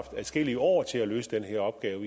adskillige år til at løse den her opgave